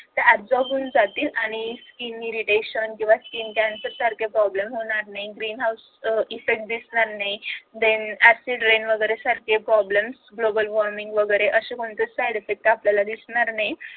ते absorb होऊन जातील त्यामुळे skin irritation किंवा skin cancer सारखे problem होणार नाहीत green house effect दिसणार नाहीत than acid rain वगैरे सारखे problem global warming वगैरे असे side effect आपल्याला दिसणार नाहीत